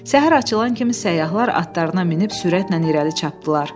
Səhər açılan kimi səyyahlar atlarına minib sürətlə irəli çapdırdılar.